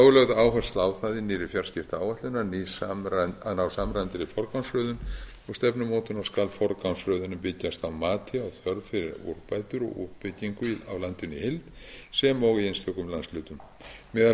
er lögð áhersla á það í nýrri fjarskiptaáætlun að ná samræmdri forgangsröðun og stefnumótun og skal forgangsröðunin byggjast á mati á þörf fyrir úrbætur og uppbyggingu á landinu í heild sem og í einstökum landshlutum meðal